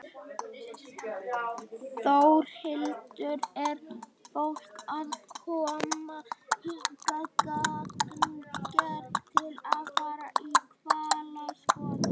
Þórhildur: Er fólk að koma hingað gagngert til að fara í hvalaskoðun?